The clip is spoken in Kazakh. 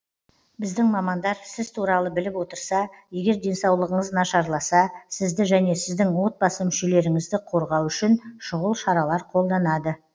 біздің мамандар сіз туралы біліп отырса егер денсаулығыңыз нашарласа сізді және сіздің отбасы мүшелеріңізді қорғау үшін шұғыл шаралар қолданады